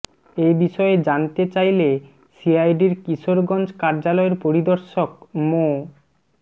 এ বিষয়ে জানতে চাইলে সিআইডির কিশোরগঞ্জ কার্যালয়ের পরিদর্শক মো